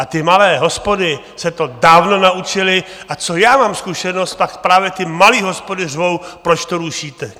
A ty malé hospody se to dávno naučily, a co já mám zkušenost, pak právě ty malé hospody řvou, proč to rušíte!